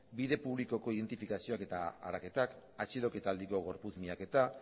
bide publikoko identifikazioak eta araketak atxiloketaldiko gorputz miaketa